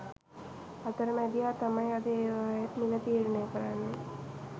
අතරමැදියා තමයි අද ඒවායෙත් මිල තීරණය කරන්නේ